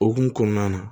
Okumu kɔnɔna na